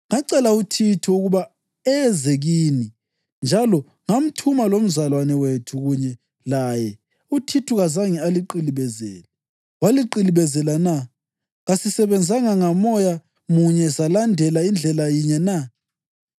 Ngacela uThithu ukuba eze kini njalo ngathuma lomzalwane wethu kunye laye. UThithu kazange aliqilibezele, waliqilibezela na? Kasisebenzanga ngamoya munye salandela indlela yinye na?